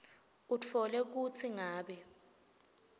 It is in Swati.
utfole kutsi ngabe